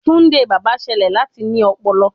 Tunde baba ṣẹlẹ lati ní ọpọlọ